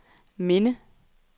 minde